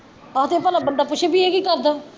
ਅੱਗੋਂ ਬੰਦਾ ਭਲਾ ਪੁੱਛੇ ਵੀ ਏਹ ਕੀ ਕਰਦਾ